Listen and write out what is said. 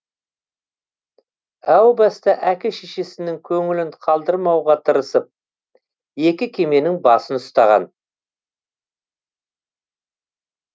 әу баста әке шешесінің көңілін қалдырмауға тырысып екі кеменің басын ұстаған